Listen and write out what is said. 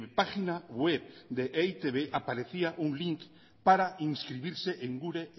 página web de e i te be aparecía un link para inscribirse en gure